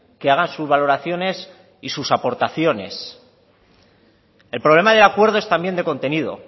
que hagan sus valoraciones y sus aportaciones el problema de acuerdo es también de contenido